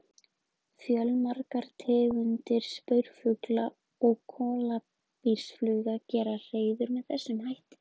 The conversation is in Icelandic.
Fjölmargar tegundir spörfugla og kólibrífugla gera hreiður með þessum hætti.